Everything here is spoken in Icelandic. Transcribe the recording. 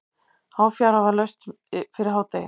Háfjara var laust fyrir hádegi.